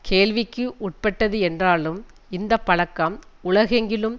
கேள்விக்கு உட்பட்டது என்றாலும் இந்த பழக்கம் உலகெங்கிலும்